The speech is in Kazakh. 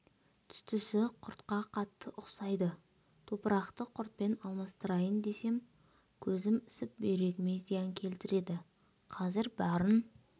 түстісі құртқа қатты ұқсайды топырақты құртпен алмастырайын десем көзім ісіп бүйрегіме зиян келтіреді қазір барын